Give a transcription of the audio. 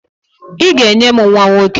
I ga-enye m nwa nwoke!